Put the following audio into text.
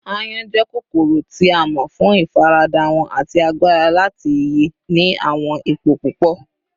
Àyon jẹ kokoro ti a mọ fun ifarada wọn ati agbara lati ye ni awọn ipo pupọ